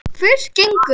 Fyrst gengu